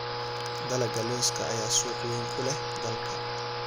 Dalagga lawska ayaa suuq weyn ku leh dalka.